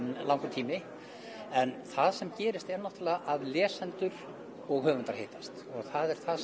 en það sem gerist er náttúrulega að lesendur og höfundar hittast og það